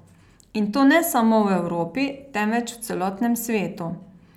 In to ne samo v Evropi, temveč v celotnem svetu.